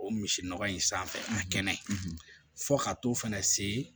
O misi nɔgɔ in sanfɛ a kɛnɛ fo ka t'o fɛnɛ se